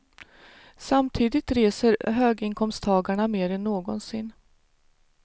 Samtidigt reser höginkomsttagarna mer än någonsin.